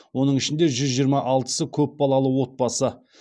оның ішінде жүз жиырма алтысы көп балалы отбасы